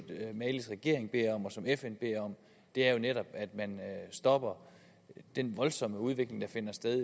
malis regering beder om og som fn beder om er jo netop at man stopper den voldsomme udvikling der finder sted i